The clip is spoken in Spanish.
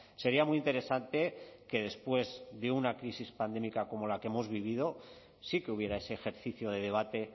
sería muy interesante que después de una crisis pandémica como la que hemos vivido sí que hubiera ese ejercicio de debate